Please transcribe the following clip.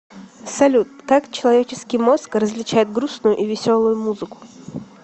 салют как человеческий мозг различает грустную и веселую музыку